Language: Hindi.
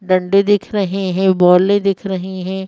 गड्ढे दिख रहे हैं बॉले दिख रही है।